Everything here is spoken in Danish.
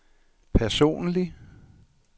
personlig